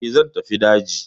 E, zan tafi daji.